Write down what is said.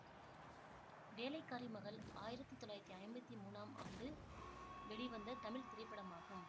வேலைக்காரி மகள் ஆயிரத்தி தொள்ளாயிரத்தி ஐம்பத்தி மூனாம் ஆண்டு வெளிவந்த தமிழ் திரைப்படமாகும்